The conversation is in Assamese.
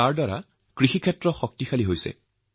যাৰফলত কৃষি উৎপাদকসকলৰ যথেষ্ট শক্তি লাভ হৈছে